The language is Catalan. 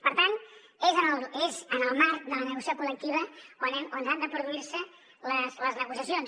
per tant és en el marc de la negociació col·lectiva on han de produir se les negociacions